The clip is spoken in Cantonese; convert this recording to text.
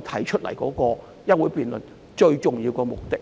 提出休會待續議案的最重要目的。